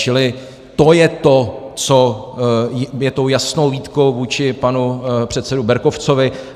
Čili to je to, co je tou jasnou výtkou vůči panu předsedovi Berkovcovi.